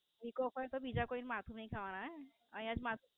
વિકોક હોય તો બીજા કોઈન માથું ની ખાવાનું હે ને અહીંયા જ માથ